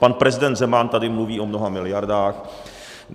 Pan prezident Zeman tady mluví o mnoha miliardách.